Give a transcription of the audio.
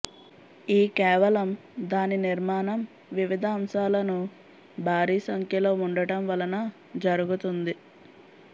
ఈ కేవలం దాని నిర్మాణం వివిధ అంశాలను భారీ సంఖ్యలో ఉండటం వలన జరుగుతుంది